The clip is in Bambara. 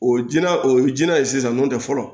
O jinɛ o ye jinɛ ye sisan n'o tɛ fɔlɔ